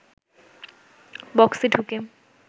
বক্সে ঢুকে